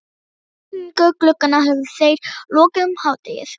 Ísetningu glugganna höfðu þeir lokið um hádegið.